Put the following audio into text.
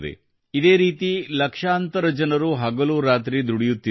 ಇದೇ ರೀತಿ ಲಕ್ಷಾಂತರ ಜನರು ಹಗಲು ರಾತ್ರಿ ದುಡಿಯುತ್ತಿದ್ದಾರೆ